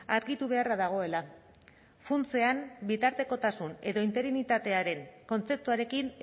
argitu beharra dagoela funtsean bitartekotasun edo interinitatearen kontzeptuarekin